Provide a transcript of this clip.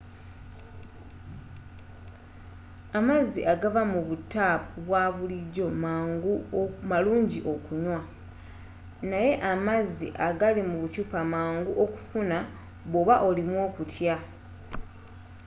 amazzi agava mu butaapu obwabulijjo malungi okunywa naye amazzi agali mu bukyupa mangu okufuna bwoba olimu okutya